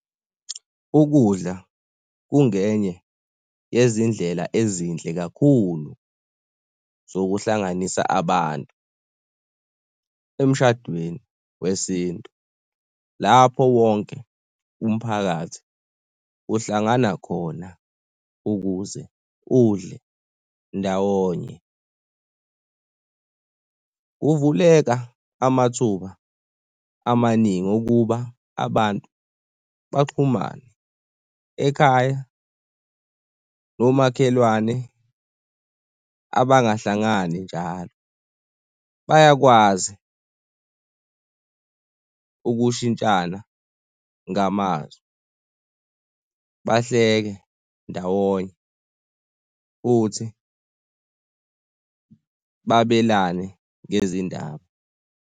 Ukudla kungenye yezindlela ezinhle kakhulu zokuhlanganisa abantu emshadweni wesintu lapho wonke umphakathi uhlangana khona ukuze udle ndawonye. Kuvuleka amathuba amaningi okuba abantu baxhumane ekhaya nomakhelwane abangahlangani njalo bayakwazi ukushintshana ngamazwi, bahleke ndawonye futhi babelane ngezindaba.